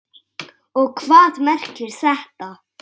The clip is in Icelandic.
Og hvað merkir þetta?